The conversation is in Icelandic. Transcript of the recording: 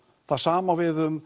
það sama á við um